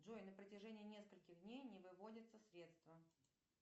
джой на протяжении нескольких дней не выводятся средства